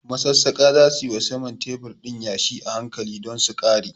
Masassaƙa za su yi wa saman tebur ɗin yashi a hankali don su ƙare.